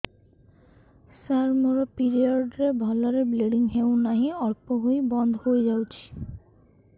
ସାର ମୋର ପିରିଅଡ଼ ରେ ଭଲରେ ବ୍ଲିଡ଼ିଙ୍ଗ ହଉନାହିଁ ଅଳ୍ପ ହୋଇ ବନ୍ଦ ହୋଇଯାଉଛି